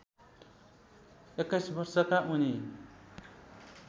२१ वर्षका उनी